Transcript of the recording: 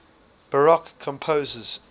baroque composers